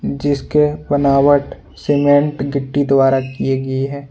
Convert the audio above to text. जिसके बनावट सीमेंट गिट्टी द्वारा की गई है।